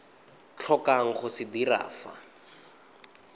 tlhokang go se dira fa